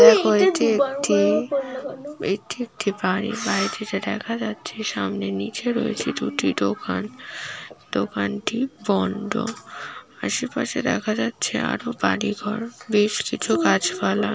এটি একটি এটি একটি বাড়ি বাড়িটিতে দেখা যাচ্ছে সামনে নীচে রয়েছে দুটি দোকান দোকানটি বন্ধ আশেপাশে দেখা যাচ্ছে আরো বাড়ি ঘর বেশ কিছু গাছ পালা--